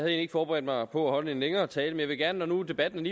ikke forberedt mig på at holde en længere tale men jeg vil gerne når debatten